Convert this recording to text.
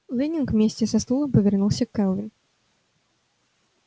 лэннинг вместе со стулом повернулся к кэлвин